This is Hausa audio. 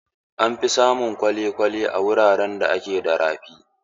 An fi samun kwale-kwale a wuraren da ke da rafi.